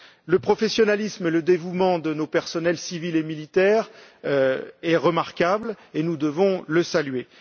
Le professionnalisme et le dévouement de nos personnels civils et militaires sont remarquables, et nous devons les saluer.